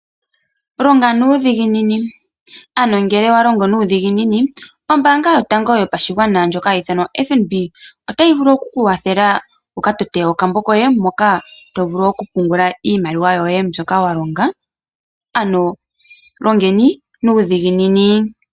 Longa nuudhiginini, ano ngele owa longo nuudhiginini, ombaanga yotango yopashigwana ndjoka hayi ithanwa FNB, otayi vulu oku ku kwathela wu ka tote okambo koye moka to vulu oku pungula iimaliwa yoye mbyoka wa longa. Ano longeni nuudhiginini.